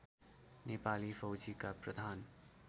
नेपाली फौजीका प्रधान